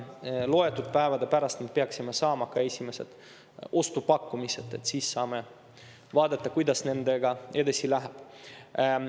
Loetud päevade pärast peaksime saama esimesed ostupakkumised ning siis saame vaadata, kuidas nendega edasi läheb.